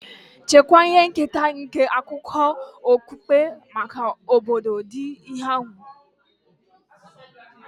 Chekwaa ihe nketa nke akụkọ okpukpe maka ọgbọ dị n'ihu ga-eji kpọrọ ihe.